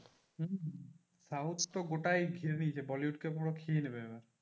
হম হম south তো গোটাই ঘিরে নিয়েছে bollywood কে ধরো খেয়ে নেবে ওরা।